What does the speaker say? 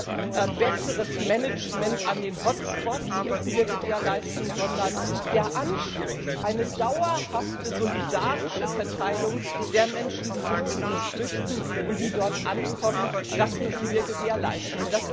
Nicht nur besseres Management an den Hotspots müssen wir gewährleisten, sondern den Anschluss eine dauerhafte, solidarische Verteilung der Menschen, die sich zu uns flüchten und die dort ankommen, das müssen wir gewährleisten.